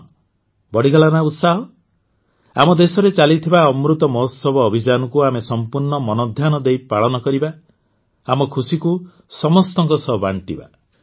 କଣ ବଢ଼ିଗଲା ନା ଉତ୍ସାହ ଆମ ଦେଶରେ ଚାଲିଥିବା ଅମୃତ ମହୋତ୍ସବ ଅଭିଯାନକୁ ଆମେ ସମ୍ପୂର୍ଣ୍ଣ ମନଧ୍ୟାନ ଦେଇ ପାଳନ କରିବା ଆମ ଖୁସିକୁ ସମସ୍ତଙ୍କ ସହ ବାଣ୍ଟିବା